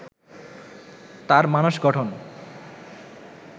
তার মানস গঠন